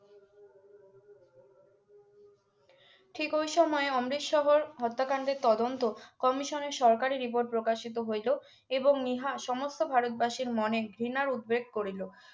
ঠিক ওই সময়ে অমৃত শহর হত্যা কাণ্ডের তদন্ত কমিশনের সরকারি রিপোর্ট প্রকাশিত হইলো এবং ইহা সমস্ত ভারতবাসীর মনে ঘৃণার উদ্বেগ করিলো